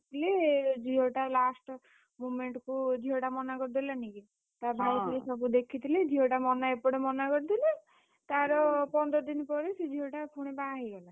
ଥିଲେ ଝିଅ ଟା last moment କୁ ଝିଅଟା ମନା କରିଦେଲାନି କି? ତା ଭାଇ ସବୁ ଦେଖିଥିଲେ ଝିଅଟା ମନା ଏପଟେ ମନା କରିଦେଲେ ତାର ପନ୍ଦର ଦିନି ପରେ ସେ ଝିଅଟା ପୁଣି ବାହାହେଇଗଲା।